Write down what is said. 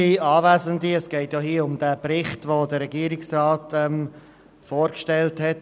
Es geht hier um den Bericht, den der Regierungsrat vorgestellt hat.